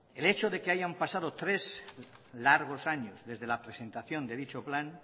el hecho de que hayan pasado tres largos años desde la presentación de dicho plan